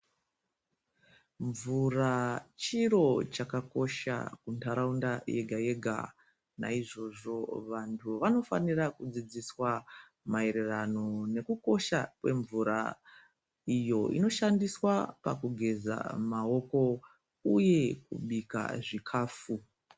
Mvura chiro chakakosha ntaraunda yega-yega. Naizvozvo vantu vanofanira kudzidziswa maererano nekukosha kwemvura, iyo inoshandiswa pakugeza maoko uye kubika zvikhafu.